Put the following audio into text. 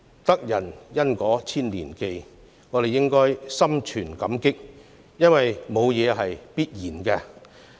"得人恩果千年記"，我們應當心存感激，因為沒有甚麼是必然的。